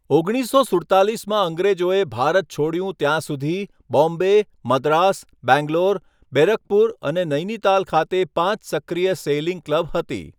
ઓગણીસસો સુડતાલીસમાં અંગ્રેજોએ ભારત છોડ્યું ત્યાં સુધી, બોમ્બે, મદ્રાસ, બેંગ્લોર, બેરકપુર અને નૈનીતાલ ખાતે પાંચ સક્રિય સેઈલિંગ ક્લબ હતી.